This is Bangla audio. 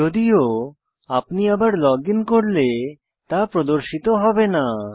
যদিও আপনি আবার লগ ইন করলে তা প্রদর্শিত হবে না